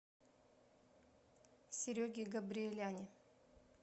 сереге габриеляне